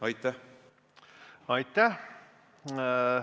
Aitäh!